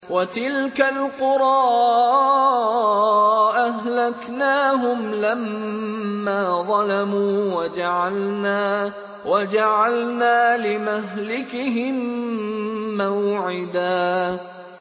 وَتِلْكَ الْقُرَىٰ أَهْلَكْنَاهُمْ لَمَّا ظَلَمُوا وَجَعَلْنَا لِمَهْلِكِهِم مَّوْعِدًا